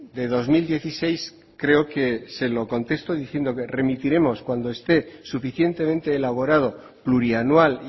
de dos mil dieciséis creo que se lo contesto diciendo que remitiremos cuando esté suficientemente elaborado plurianual